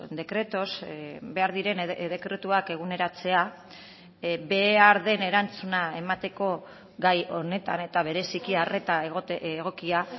decretos behar diren dekretuak eguneratzea behar den erantzuna emateko gai honetan eta bereziki arreta egokia